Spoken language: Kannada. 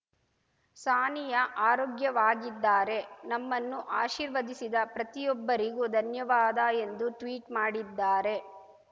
ಸಾನಿಯಾ ಆರೋಗ್ಯವಾಗಿದ್ದಾರೆ ನಮ್ಮನ್ನು ಆಶೀರ್ವದಿಸಿದ ಪ್ರತಿಯೊಬ್ಬರಿಗೂ ಧನ್ಯವಾದ ಎಂದು ಟ್ವೀಟ್‌ ಮಾಡಿದ್ದಾರೆ